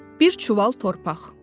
Bir çuval torpaq.